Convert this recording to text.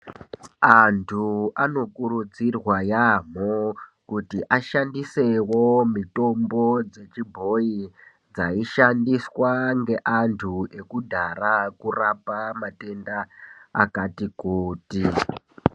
Antu anokurudzirwa yambo kuti ashandisewo mitombo dzechibhoyi dzaushandiswa ngeantu ekudhaya kurapa matenda akati kuti.